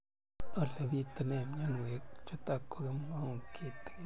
Ole pitune mionwek chutok ko kimwau kitig'�n